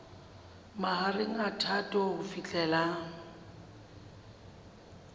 mahareng a phato ho fihlela